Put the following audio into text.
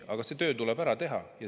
Aga see töö tuleb ära teha.